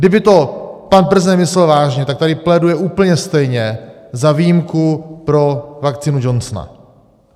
Kdyby to pan prezident myslel vážně, tak tady pléduje úplně stejně za výjimku pro vakcínu Johnson.